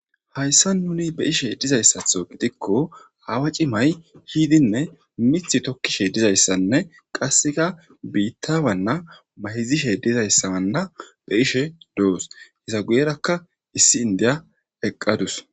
hayssa nuni beyishe dizayssatho gidikko hawa cimay hiidinne mith tokkishe dizayssanne qasseka biitta wanna mahizishe dizayssawanna be ishe doos hesa guyerakka issi indiya eqqadus